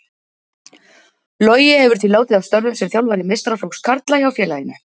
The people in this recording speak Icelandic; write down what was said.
Logi hefur því látið af störfum sem þjálfari meistaraflokks karla hjá félaginu.